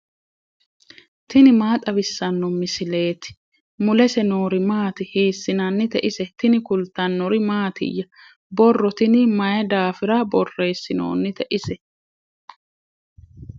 tini maa xawissanno misileeti ? mulese noori maati ? hiissinannite ise ? tini kultannori mattiya? borro tinni mayi daafirra borreessinoonni ise?